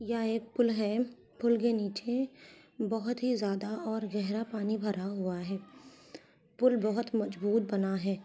यह एक पुल है पुल के नीचे बहुत ही ज्यादा और गहरा पानी भरा हुआ है पुल बहुत मजबूत बना है।